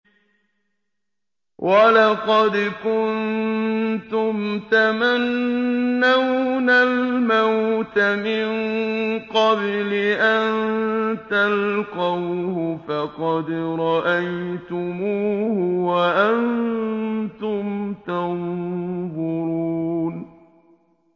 وَلَقَدْ كُنتُمْ تَمَنَّوْنَ الْمَوْتَ مِن قَبْلِ أَن تَلْقَوْهُ فَقَدْ رَأَيْتُمُوهُ وَأَنتُمْ تَنظُرُونَ